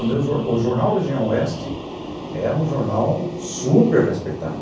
O meu jornal, o Jornal Região Oeste, é um jornal super respeitado.